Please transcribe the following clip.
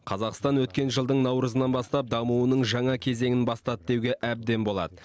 қазақстан өткен жылдың наурызынан бастап дамуының жаңа кезеңін бастады деуге әбден болады